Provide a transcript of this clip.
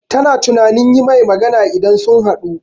Ta na tunanin yi mai magana idan sun haɗu